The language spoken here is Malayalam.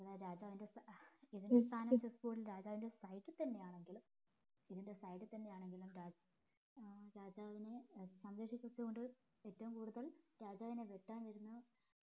രാജാവിന്റെ side തന്നെയാണെങ്കിലും ഇതിന്റെ side തന്നെയാണെകിലും ഏർ രാജാവിന് ഏർ സംരക്ഷിച്ചു കൊണ്ട് ഏറ്റവും കൂടുതൽ രാജാവിനെ വെട്ടാൻ വരുന്ന